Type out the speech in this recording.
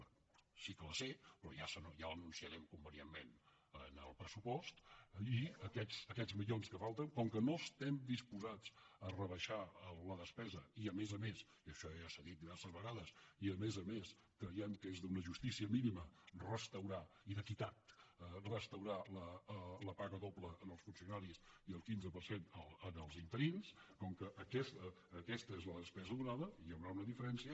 bé sí que la sé però ja l’anunciarem convenientment en el pressupost i aquests milions que falten com que no estem disposats a rebaixar la despesa i a més a més i això ja s’ha dit diverses vegades i a més a més creiem que és d’una justícia mínima restaurar i d’equitat restaurar la paga doble als funcionaris i el quinze per cent als interins com que aquesta és la despesa donada hi haurà una diferència